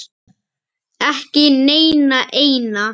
Ekki neina eina.